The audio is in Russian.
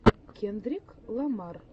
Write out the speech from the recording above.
кендрик ламар